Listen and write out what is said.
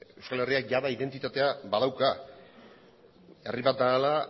euskal herriak jada identitatea badauka herri bat dela